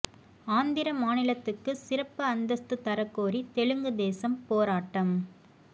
ஆந்திர மாநிலத்துக்கு சிறப்பு அந்தஸ்து தரக் கோரி தெலுங்கு தேசம் போராட்டம்